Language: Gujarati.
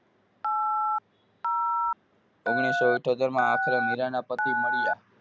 ઓગણીસો ઇથોતેર માં આખરે મીરાના પતિ મળ્યા.